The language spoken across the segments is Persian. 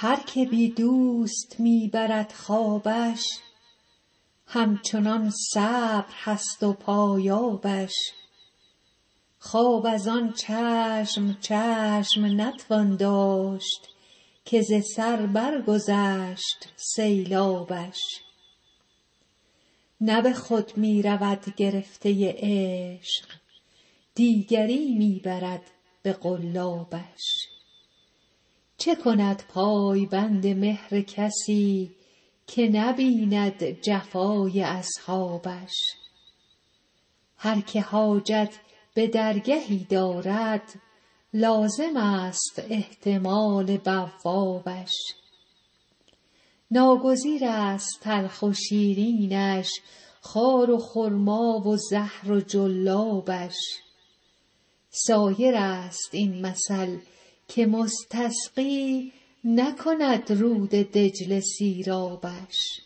هر که بی دوست می برد خوابش همچنان صبر هست و پایابش خواب از آن چشم چشم نتوان داشت که ز سر برگذشت سیلابش نه به خود می رود گرفته عشق دیگری می برد به قلابش چه کند پای بند مهر کسی که نبیند جفای اصحابش هر که حاجت به درگهی دارد لازمست احتمال بوابش ناگزیرست تلخ و شیرینش خار و خرما و زهر و جلابش سایرست این مثل که مستسقی نکند رود دجله سیرابش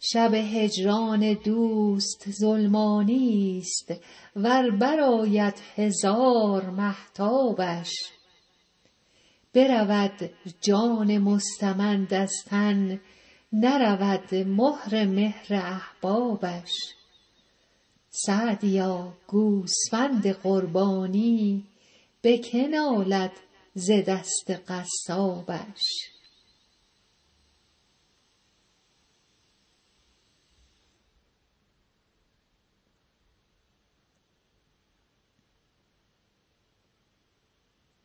شب هجران دوست ظلمانیست ور برآید هزار مهتابش برود جان مستمند از تن نرود مهر مهر احبابش سعدیا گوسفند قربانی به که نالد ز دست قصابش